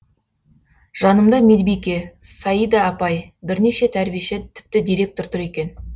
жанымда медбике саида апай бірнеше тәрбиеші тіпті директор тұр екен